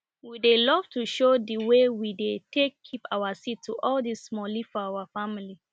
we dey love to show di wey we dey take keep our seed to all the smallie for our family